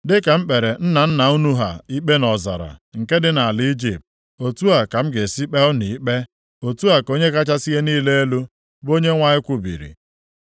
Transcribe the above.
Dịka m kpere nna nna unu ha ikpe nʼọzara nke dị nʼala Ijipt, otu a ka m ga-esi kpee unu ikpe, otu a ka Onye kachasị ihe niile elu, bụ Onyenwe anyị kwubiri.